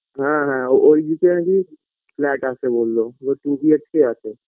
হ্যাঁ হ্যাঁ ওইদিকে নাকি flat আছে বললো two BHK আছে বললো